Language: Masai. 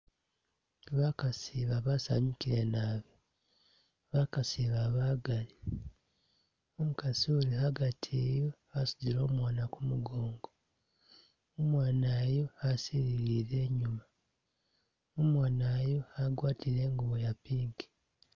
Bakaasi ba basanyukile naabi bakaasi ba bagaali, umukaasi uli a'gati eyu wasudile omwana ku mugoongo, umwana yu asilile nyuma, umwana yu agwatile i'ngubo ya pink.